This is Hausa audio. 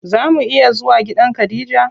Zaa mu iya zuwa gidan khadija?